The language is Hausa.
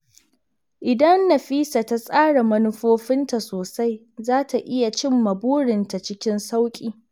Idan Nafisa ta tsara manufofinta sosai, za ta iya cimma burinta cikin sauƙi.